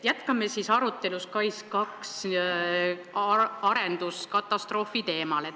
Jätkame arutelu SKAIS2 arenduse katastroofi teemal.